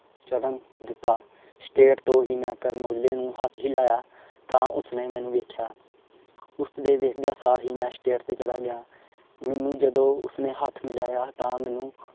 ਚੜਨ ਦਿਤਾ state ਤੋਂ ਹੀ ਮੈਂ ਕਰਨ ਔਜਲੇ ਨੂੰ ਹੱਥ ਹੀਲਾਇਆ ਤਾਂ ਉਸਨੇ ਮੈਨੂੰ ਵੇਖਿਆ ਉਸਦੇ ਦੇਖਦਿਆਂ ਸਾਰ ਹੀ ਮੈਂ state ਤੇ ਚਲਾ ਗਿਆ। ਮੈਨੂੰ ਜਦੋ ਉਸਨੇ ਹੱਥ ਮਿਲਾਇਆ ਤਾਂ ਮੈਨੂੰ